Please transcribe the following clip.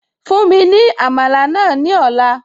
Fún mi ní Àmàlà náà ní ọ̀la